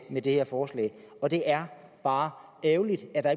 med det her forslag og det er bare ærgerligt at der